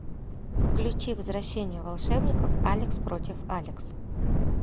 включи возвращение волшебников алекс против алекс